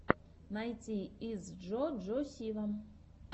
найти итс джо джо сива